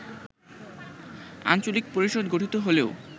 আঞ্চলিক পরিষদ গঠিত হলেও